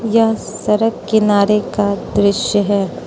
यह सड़क किनारे का दृश्य है।